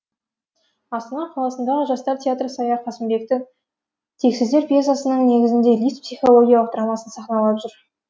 астана қаласындағы жастар театры сая қасымбектің тексіздер пьесасының негізінде лифт психологиялық драмасын сахналап жүр